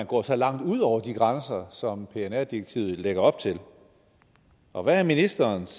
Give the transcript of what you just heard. gå så langt ud over de grænser som pnr direktivet lægger op til og hvad er ministerens